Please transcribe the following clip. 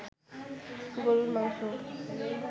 গরুর মাংস